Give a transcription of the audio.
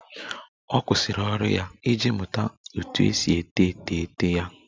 Ọ kwụsịrị ọrụ ya iji mụta otú e si ete etemeete ya